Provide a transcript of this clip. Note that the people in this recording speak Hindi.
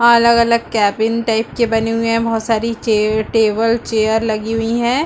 अलग - अलग केबिन टाइप के बने हुए है बहुत सारे चे टेबल चैयर लगी हुई है।